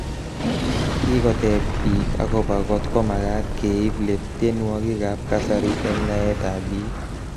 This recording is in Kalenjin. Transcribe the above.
Kikoteb bik akobo kotkomagat keib let tienwokik ab kasari eng naet ab bik.